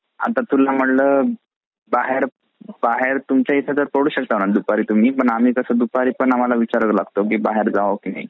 आता तुला म्हंटलं बाहेर बाहेर तुमचा इथे बाहेर पडू शकता दुपारी तुम्ही पण आम्हला कसा म्हंटलं तर विचारावा लागत कि बाहेर जावा कि नाही.